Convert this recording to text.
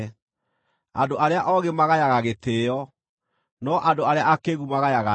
Andũ arĩa oogĩ magayaga gĩtĩĩo, no andũ arĩa akĩĩgu magayaga njono.